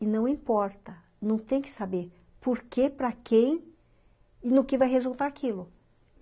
E não importa, não tem que saber porquê, para quem e no que vai resultar aquilo.